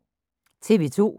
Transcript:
TV 2